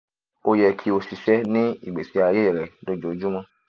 o yẹ ki o ṣiṣẹ ni igbesi aye rẹ ojoojumọ